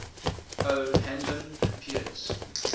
o hanlon appears